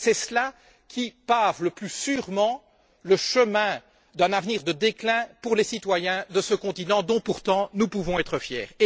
C'est cela qui pave le plus sûrement le chemin d'un avenir de déclin pour les citoyens de ce continent dont, pourtant, nous pouvons être fiers.